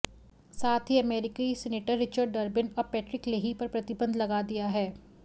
साथ ही अमेरिकी सीनेटर रिचर्ड डर्बिन और पैट्रिक लेही पर प्रतिबंध लगा दिया है